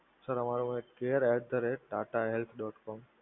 sir અમારો care at the rate Tata health dot કોમ.